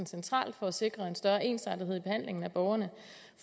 centralt for at sikre en større ensartethed i behandlingen af borgerne